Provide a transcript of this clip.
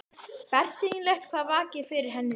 Bersýnilegt hvað vakir fyrir henni núna.